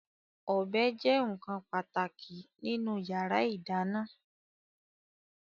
Ọ̀bẹ jẹ́ nkan pàtàkì nínú yàrá ìdáná